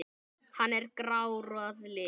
Hann er grár að lit.